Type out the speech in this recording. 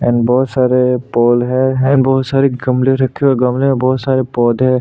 and बहुत सारे pole है एंड बहुत सारे गमले रखे हुए है गमले में बहुत सारे पौधे --